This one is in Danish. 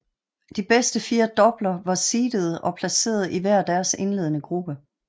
De fire bedst doubler var seedede og placeret i hver deres indledende gruppe